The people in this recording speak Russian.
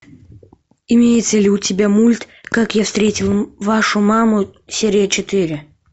имеется ли у тебя мульт как я встретил вашу маму серия четыре